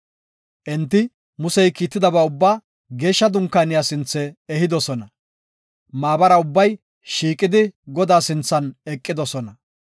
Enti Musey kiittidaba ubbaa Geeshsha Dunkaaniya sinthe ehidosona; maabara ubbay shiiqidi Godaa sinthan eqidosona.